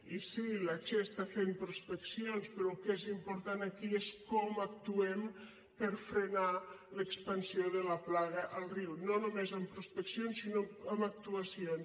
i sí la che està fent prospeccions però el que és important aquí és com actuem per frenar l’expansió de la plaga al riu no només amb prospeccions sinó amb actuacions